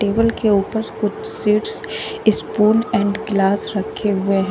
table के ऊपर कुछ सीड्स ई स्पून एंड ग्लास रखे हुए--